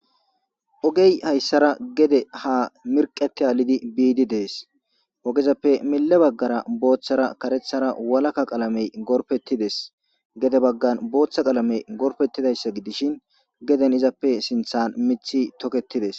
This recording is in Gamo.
ogey hayssara gede ha mirqeti aalidi biidi dees ogezappe mille baggara booththara karethara walaka qalamey gorpettides gede baggan booththa qalamey gorpettidayssa gidishin geden izappe sinthan mithi tokettides